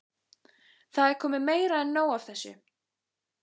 Það er komið meira en nóg af þessu!